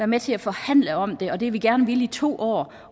med til at forhandle om det og det har vi gerne villet i to år